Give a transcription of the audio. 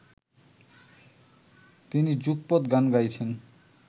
তিনি যুগপৎ গান গাইছেন